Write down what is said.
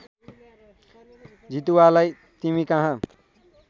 जितुवालाई तिमी कहाँ